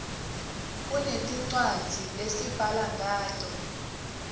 kungti rcwadzi lesibhala nqato